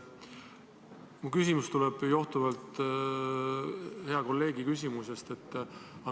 Minu küsimus johtub hea kolleegi küsimusest.